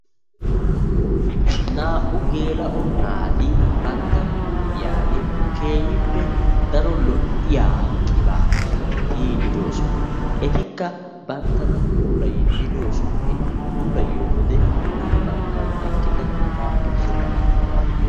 Naa''u gela'o naati bantta huuphiyaan keehippe daro lo''iyaa qibaatiya tiyyide doosona. etikka banttana puulayidde doosona. eti puulayiyyo wode hin baggan eqqida naa''u attuma naati de'oosona.